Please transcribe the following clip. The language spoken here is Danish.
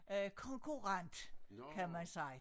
Øh konkurrent kan man sige